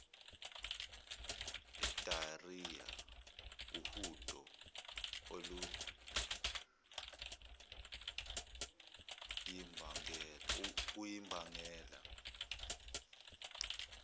diarhoea uhudo oluyimbangela